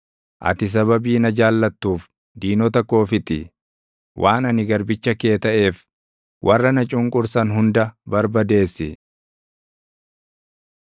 Ati sababii na jaallattuuf diinota koo fixi; waan ani garbicha kee taʼeef, warra na cunqursan hunda barbadeessi.